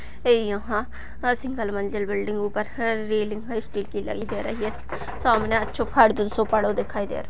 ये यहाँ सिंगल मंजिल बिल्डिंग ऊपर‌ है रेलिंग ‌है स्टील की लगी दिखाई दे रही है सामने अच्छो‌ सो पड़ो दिखाई दे रहो --